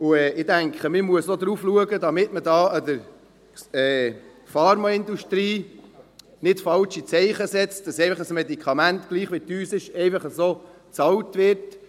Ich denke, man muss darauf achten, dass man der Pharmaindustrie nicht falsche Zeichen setzt, dass alle Medikamente, egal, wie teuer, einfach bezahlt werden.